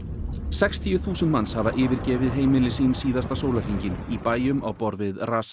sextíu þúsund manns hafa yfirgefið heimili sín síðasta sólarhringinn í bæjum á borð við